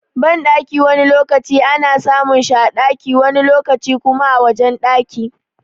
Banɗaki wani lokaci ana samun shi a ɗaki wani lokaci kuma a wajen ɗaki.